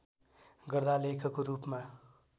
गर्दा लेखको रूपमा